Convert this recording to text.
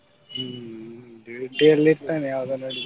ಹ್ಮ್ duty ಅಲ್ಲಿ ಇರ್ತಾನೆ ಯಾವಾಗಾ ನೋಡಿದ್ರು.